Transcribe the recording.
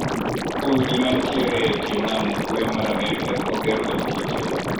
Udi mantiere e tie nam e ugwe mar Amerika oger kod kite.